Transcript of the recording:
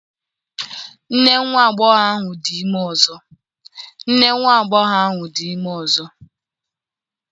Nne nwa agbọghọ ahụ dị ime ọzọ